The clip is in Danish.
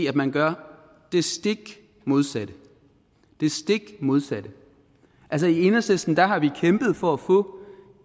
at man gør det stik modsatte det stik modsatte altså i enhedslisten har vi kæmpet for at få